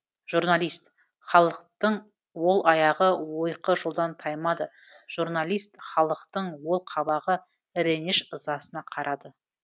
журналист халықтың ол аяғы ойқы жолдан таймады жұрналист халықтың ол қабағы іреніш ызасына қарады